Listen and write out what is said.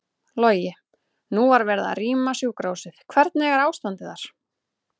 Logi: Nú var verið að rýma sjúkrahúsið, hvernig er ástandið þar?